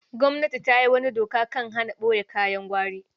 Gwamnati ta yi wata dokar kan hana ɓoye kayan gwari.